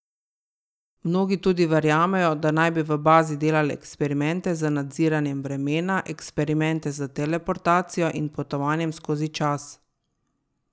Mnogi tudi verjamejo, da naj bi v bazi delale eksperimente z nadziranjem vremena, eksperimente s teleportacijo in potovanjem skozi čas.